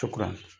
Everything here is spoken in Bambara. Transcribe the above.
Tukuran